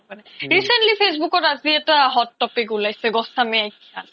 recently facebook আজি এটা hot topic উলাইছে